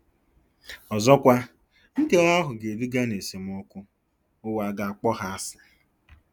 Ọzọkwa, nkewa ahụ ga-eduga ná esemokwu - ụwa ga-akpọ ha asị.